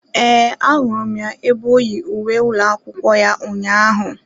Ee, ahụrụ m ya ebe oyi uwe ụlọ akwụkwọ ya ụnyaahụ.